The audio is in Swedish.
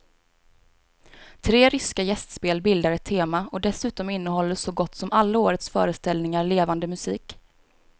Tre ryska gästspel bildar ett tema och dessutom innehåller så gott som alla årets föreställningar levande musik.